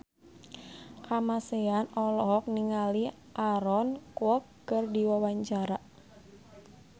Kamasean olohok ningali Aaron Kwok keur diwawancara